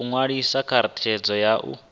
ṅwaliswa kha redzhisitara ya u